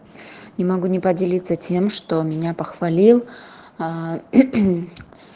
не могу не поделиться тем что меня похвалил